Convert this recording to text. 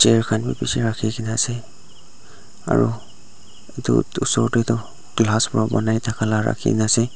chair khan bi bishi rakhikena ase aro edu osor tae tu banai nathaka la rakhina ase.